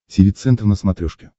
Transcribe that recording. тиви центр на смотрешке